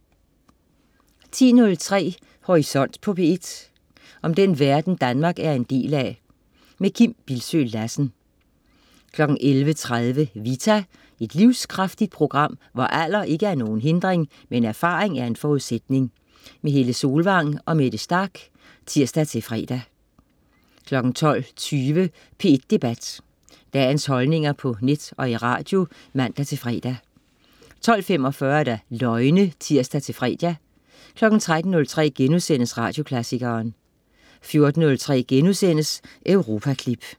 10.03 Horisont på P1. Om den verden Danmark er en del af. Kim Bildsøe Lassen 11.30 Vita. Et livskraftigt program, hvor alder ikke er nogen hindring, men erfaring en forudsætning. Helle Solvang og Mette Starch (tirs-fre) 12.20 P1 Debat. Dagens holdninger på net og i radio (man-fre) 12.45 Løgne (tirs-fre) 13.03 Radioklassikeren* 14.03 Europaklip*